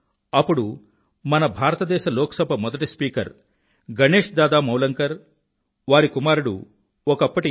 అప్పుడు మన భారతదేశ లోక్ సభ మొదటి స్పీకర్ గణేశ్ దాదా మావలంకర్ వారి కుమారుడు ఒకప్పటి ఎం